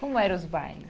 Como eram os bailes?